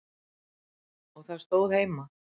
Og það stóð heima.